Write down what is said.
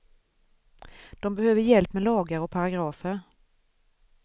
De behöver hjälp med lagar och paragrafer.